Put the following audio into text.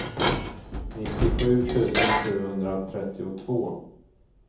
nittiosju tusen sjuhundratrettiotvå